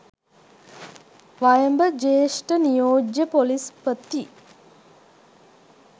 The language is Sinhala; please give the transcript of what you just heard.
වයඹ ජ්‍යෙෂ්ඨ නියෝජ්‍ය පොලිස්‌පති